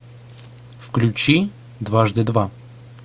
включи дважды два